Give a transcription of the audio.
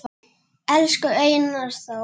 Elsku Einar Þór